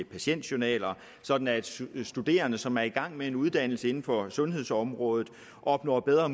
patientjournaler sådan at studerende som er i gang med en uddannelse inden for sundhedsområdet opnår bedre